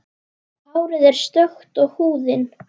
Hárið er stökkt og húðin.